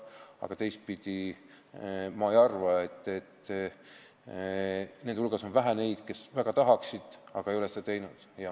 Aga teistpidi võttes, nende hulgas on vähe neid, kes väga tahaksid seda teha, aga ei ole seda teinud.